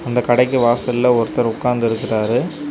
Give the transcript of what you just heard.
இந்த கடைக்கு வாசல்ல ஒருத்தர் உக்காந்து இருக்குறாரு.